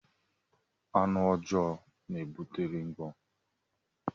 Anụ ọjọọ na-ebute ringwọm.